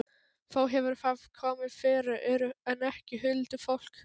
Þó hefur það komið fyrir, en ekki huldufólk.